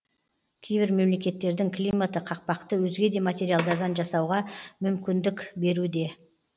кейбір мемлекеттердің климаты қақпақты өзге де материалдардан жасауға мүмкіндік беруде